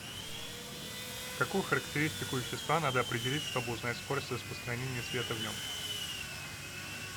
какую характеристику вещества надо определить чтобы узнать скорость распространения света в нем